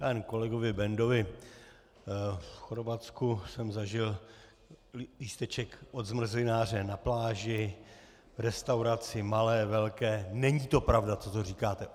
Já jen kolegovi Bendovi - v Chorvatsku jsem zažil lísteček od zmrzlináře na pláži, v restauraci malé, velké - není to pravda, co tu říkáte.